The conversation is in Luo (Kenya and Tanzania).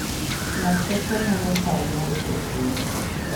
Lakteche nono chal mar jotuo.